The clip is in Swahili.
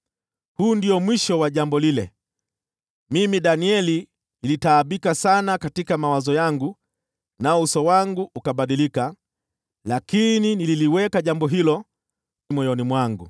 “Huu ndio mwisho wa jambo lile. Mimi Danieli nilitaabika sana katika mawazo yangu, nao uso wangu ukabadilika, lakini nililiweka jambo hilo moyoni mwangu.”